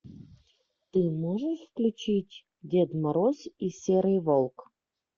ты можешь включить дед мороз и серый волк